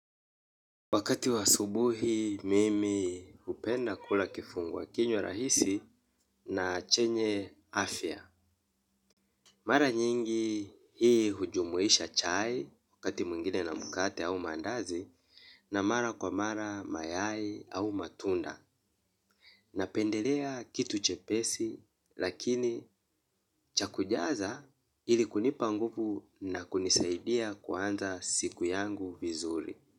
Wakati wa subuhi mimi upenda kula kifunguwa kinyo rahisi na chenye afya. Mara nyingi hii hujumuwisha chai wakati muingine na mukate au mandazi na mara kwa mara mayai au matunda. Napendelea kitu chepesi lakini chakujaza ili kunipa nguvu na kunisaidia kuanza siku yangu vizuri.